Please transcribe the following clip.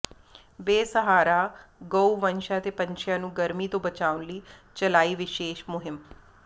ਬੇਸਹਾਰਾ ਗਊਵੰਸ਼ਾਂ ਤੇ ਪੰਛੀਆਂ ਨੂੰ ਗਰਮੀ ਤੋਂ ਬਚਾਉਣ ਲਈ ਚਲਾਈ ਵਿਸ਼ੇਸ਼ ਮੁਹਿੰਮ